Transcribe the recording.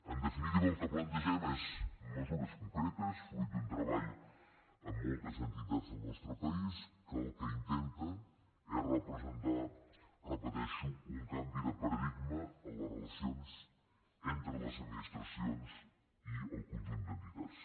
en definitiva el que plantegem són mesures concretes fruit d’un treball amb moltes entitats del nostre país que el que intenten és representar ho repeteixo un canvi de paradigma en les relacions entre les administracions i el conjunt d’entitats